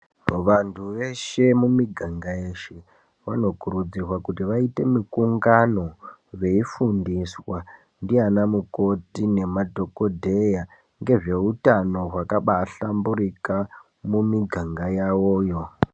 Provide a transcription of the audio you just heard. Vantu veshe mumiganga yeshe vanokurudzirwa kuti vaite mikungano veifundiswa ndianamukoti nemadhokodheya ngezveutano wakabahlamburika mumiganga yawoyo.